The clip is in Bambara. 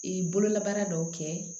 Ee bololabaara dɔw kɛ